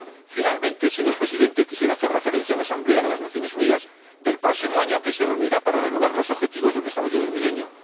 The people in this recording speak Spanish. Por último, señor Presidente, quisiera hacer referencia a la Asamblea de las Naciones Unidas del próximo año, que se reunirá para renovar los Objetivos de Desarrollo del Milenio.